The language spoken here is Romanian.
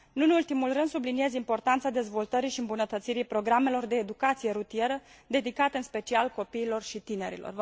Nu în ultimul rând, subliniez importanța dezvoltării și îmbunătățirii programelor de educație rutieră dedicate în special copiilor și tinerilor.